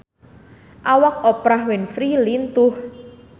Awak Oprah Winfrey lintuh